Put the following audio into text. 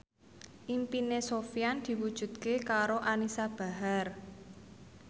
impine Sofyan diwujudke karo Anisa Bahar